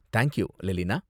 Thank you, லெலினா.